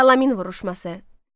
Salamin vuruşması.